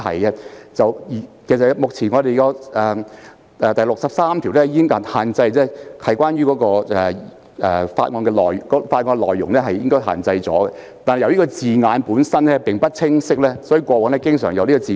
現有的《議事規則》第63條已訂明所作辯論須限於法案的內容，但由於字眼有欠清晰，過往經常出現爭拗。